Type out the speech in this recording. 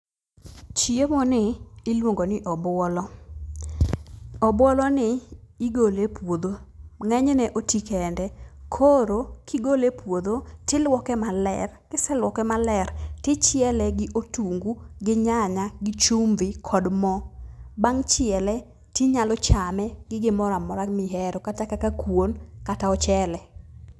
Chiemo ni iluongo ni obuolo. Obuoloni igole e puodho, ng'enyne oti kende. Koro, kigole e puodho tiluoke maler. Kiseluoke maler, tichiele gi otungu gi nyanya gi chumvi kod mo. Bang' chiele, tinyalo chame gi gimoramora mihero kata kaka kuon kata ochele.